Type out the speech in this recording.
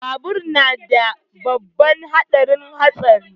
Babur yana da babban haɗarin hatsari